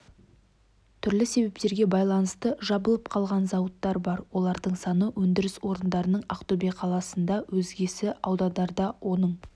түрлі себептерге байланысты жабылып қалған зауыттар бар олардың саны өндіріс орындарының ақтөбе қаласында өзгесі аудандарда оның